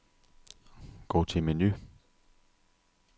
Gå til menu.